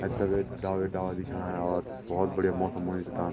ऐथर वेक डाल ही डाल दिखेणा और भोत बढ़िया मौसम होयुं च ताम।